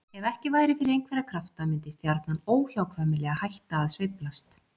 Ef ekki væri fyrir einhverja krafta myndi stjarnan óhjákvæmilega hætta að sveiflast.